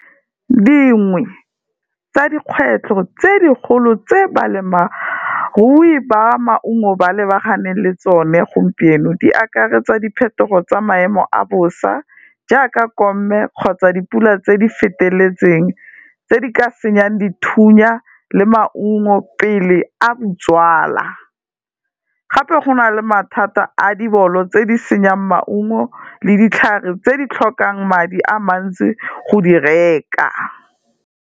Dingwe tsa dikgwetlho tse dikgolo tse balemirui ba maungo ba lebaganeng le tsone gompieno di akaretsa, diphetogo tsa maemo a bosa jaaka komme kgotsa dipula tse di feteletseng tse di ka senyeng dithunya le maungo, pele a , gape go na le mathata a dibolo tse di senyang maungo le ditlhare tse di tlhokang madi a mantsi go di reka.